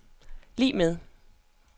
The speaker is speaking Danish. lig med